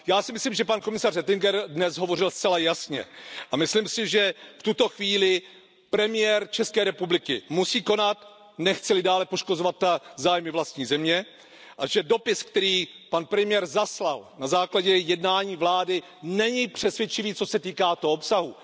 Já si myslím, že pan komisař Oettinger dnes hovořil zcela jasně, a myslím si, že v tuto chvíli premiér České republiky musí konat, nechce li dále poškozovat zájmy vlastní země, a že dopis, který pan premiér zaslal na základě jednání vlády, není přesvědčivý, co se týká toho obsahu.